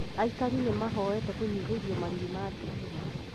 Aikari nĩ mehoete kũnyihĩrio marĩhi ma thitima